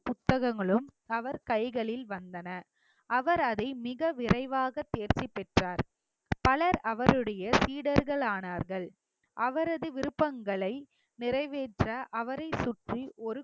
புத்தகங்களும் அவர் கைகளில் வந்தன அவர் அதை மிக விரைவாக தேர்ச்சி பெற்றோர் பலர் அவருடைய சீடர்கள் ஆனார்கள் அவரது விருப்பங்களை நிறைவேற்ற, அவரை சுற்றி ஒரு